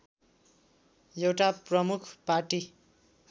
एउटा प्रमुख पार्टी